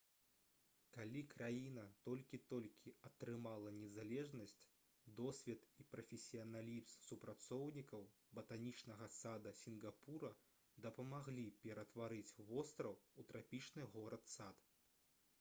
калі краіна толькі-толькі атрымала незалежнасць досвед і прафесіяналізм супрацоўнікаў батанічнага сада сінгапура дапамаглі ператварыць востраў у трапічны горад-сад